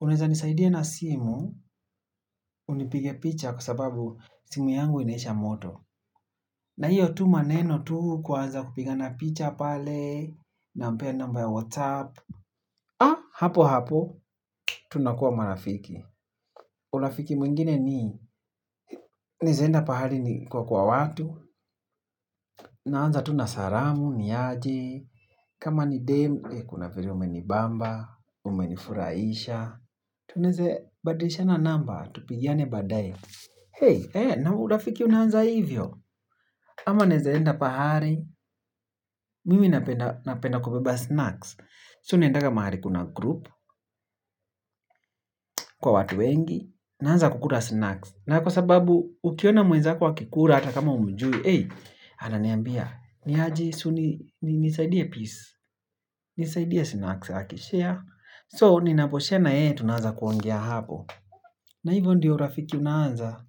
unaeza nisaidia na simu, unipige picha kwa sababu simu yangu inaisha moto. Na hio tu maneno tu kuanza kupiga mapicha pale nampea number ya whatsapp. Ah, hapo hapo, tunakuwa marafiki. Urafiki mwingine ni, naeza enda pahari niko kwa watu, naanza tu na salamu, niaje, kama ni demu, kuna vile umenibamba, umenifurahisha. Tunaeze, badilishana namba, tupigiane baadae. Hey, na urafiki unaanza hivyo? Ama naeza enda pahali, mimi napenda kubeba snacks. So naendaga mahali kuna group, kwa watu wengi, naanza kukula snacks. Na kwa sababu ukiona mwenzako akikula hata kama humjui ey, ananiambia. Niaje si uni, nisaidie piece. Nisaidia snacks haki share So, ninaposema eh, tunaanza kuongea hapo na hivyo ndiyo urafiki unaanza.